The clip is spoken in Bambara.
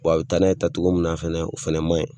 Wa a bɛ taa n'a ye taa cogo min na fɛnɛ ,o fɛnɛ ma ɲi.